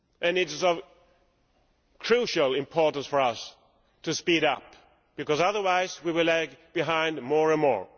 It is of crucial importance for us to speed up, because otherwise we will lag behind more and more.